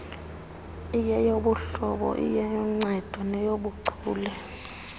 iyeyobuhlobo iyenoncedo nenobuchule